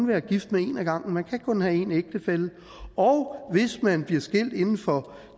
være gift med en ad gangen man kan kun have én ægtefælle og hvis man bliver skilt inden for